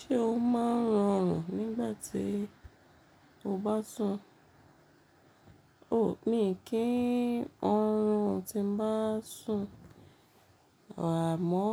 Ṣé o máa ń rọrùn nígbà tí o bá sùn? O mi kí n oorun tí n bá sùn. Àmọ́